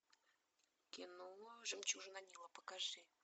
кино жемчужина нила покажи